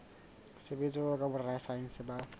sebetsa jwalo ka borasaense ba